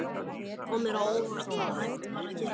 Það kom mér á óvart hvað hægt var að gera.